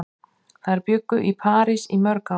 Þær bjuggu í París í mörg ár.